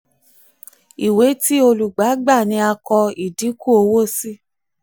ìwé ti olùgbà gbà ni a kọ ìdínkù owó sí.